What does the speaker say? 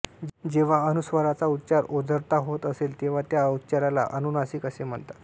जेव्हा अनुस्वाराचा उच्चार ओझरता होत असेल तेव्हा त्या उच्चाराला अनुनासिक असे म्हणतात